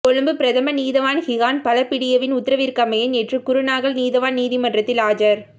கொழும்பு பிரதம நீதவான் கிஹான் பலபிடியவின் உத்தரவிற்கமைய நேற்று குருணாகல் நீதவான் நீதிமன்றத்தில் ஆஜர்